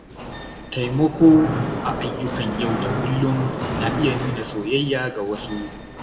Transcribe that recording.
Taimako a ayyukan yau da kullum na iya nuna soyayya ga wasu.